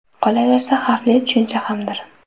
Qolaversa, xavfli tushuncha hamdir.